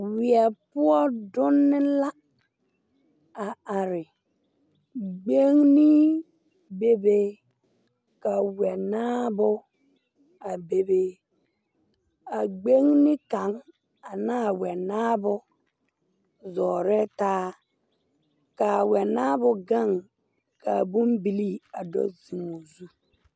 Weɛ poɔ dunne la are gbeŋne bebe ka wɛnaabo a bebe a gbeŋne kaŋ anaa wɛnaabo zɔɔrɛɛ taa kaa wɛnaabo gaŋ kaa bon bilii a do zeŋ o zu.